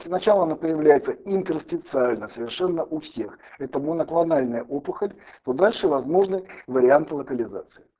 сначала она появляется интерстициально совершенно у всех это моноклональная опухоль дольше возможны варианты локализации